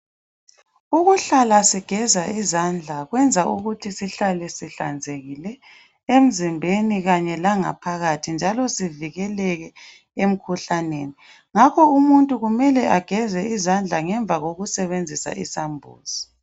Ukuhlala sigeza izandla kwenza ukuthi sihlale sihlanzekile emzimbeni kanye langaphakathi njalo sivikeleke emkhuhlaneni ngakho umuntu kumele ageze izandla ngemva kokusebenzisa isambuzi.